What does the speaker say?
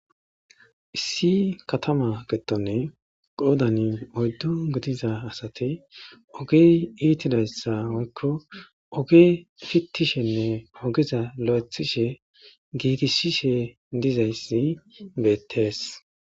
Issi katama giddoni qoodani oyddu gidiza asati ogey iitidaysa woykko oge pittishenne ogeza lo'eththishe gigisishe dizayssi beetees.